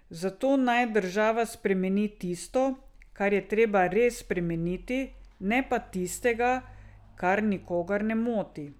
Zato naj država spremeni tisto, kar je treba res spremeniti, ne pa tistega, kar nikogar ne moti.